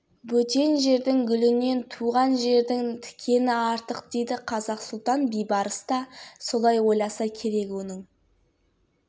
қапыда құлдыққа түсіп жат елде жүріп сұлтандыққа дейін көтерілгені тарихтан мәлім бүтін бір мысырды басқарған